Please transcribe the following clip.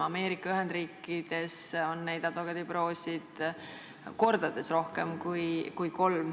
Ameerika Ühendriikides on advokaadibüroosid kordades rohkem kui kolm.